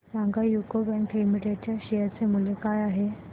सांगा UCO bank limited च्या share चे मूल्य काय आहे